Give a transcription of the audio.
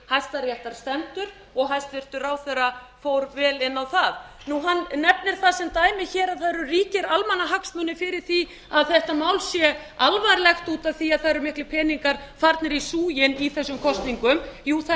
hæstaréttar stendur og hæstvirtur ráðherra fór vel inn á það hann nefnir það sem dæmi að það eru ríkir almannahagsmunir fyrir því að þetta mál sé alvarlegt út af því að það eru miklir peningar farnir í súginn í þessum kosningum jú það er